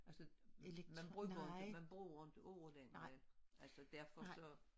Altså man bruger jo ikke man bruger ikke ordene længere altså derfor så